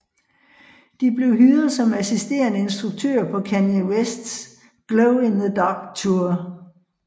De blev hyret som assisterende instruktører på Kanye Wests Glow in the Dark Tour